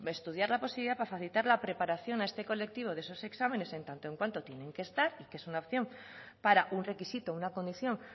estudiar la posibilidad para facilitar la preparación a este colectivo de esos exámenes en tanto en cuanto tienen que estar y que es una opción para un requisito una condición